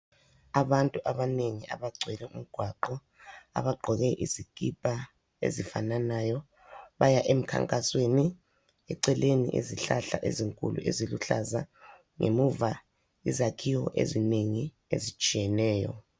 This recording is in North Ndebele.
Abantu abanengi abagcwele umgwaqo, abagqoke izikipa ezifananayo baya emkhankasweni, eceleni izihlahla ezinkulu eziluhlaza ngemuva yizakhiwo ezinengi ezitshiyeneyo.